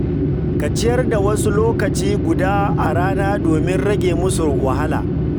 Ka ciyar da wasu lokaci guda a rana domin rage musu wahala.